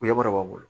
Yɔrɔ b'a bolo